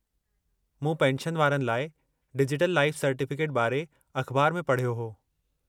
मूं पेंशनवारनि लाइ डिजिटल लाइफ़ सर्टिफ़िकेट बारे अख़बारु में पढ़यो हो।